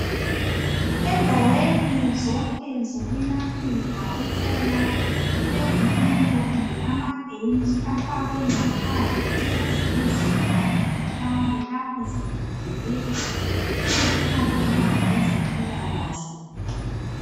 Endaweni zonke zokwelaphela uthola kulezitulo kumbe amabhentshi afakwe ngaphandle ukuze izigulani zihlale lapho zilindelwe ukukhangelwa ngabezempilakahle